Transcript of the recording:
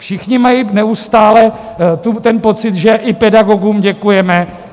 Všichni mají neustále ten pocit, že i pedagogům děkujeme.